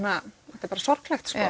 þetta er bara sorglegt